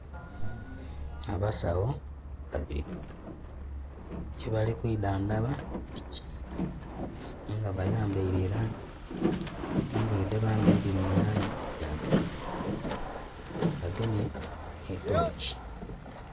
Abasawo babili. Kyebali kwidhandhaba tikiidhi. Aye nga bayambaile e langi, engoye dhe bambaile dhili mu langi ya bululu. Bagemye nhi torch.